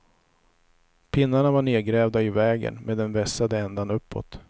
Pinnarna var nedgrävda i vägen med den vässade änden uppåt.